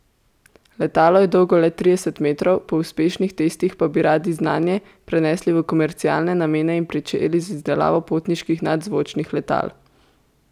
Letalo je dolgo le trideset metrov, po uspešnih testih pa bi radi znanje prenesli v komercialne namene in pričeli z izdelavo potniških nadzvočnih letal.